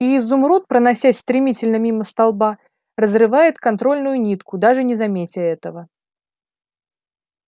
и изумруд проносясь стремительно мимо столба разрывает контрольную нитку даже не заметя этого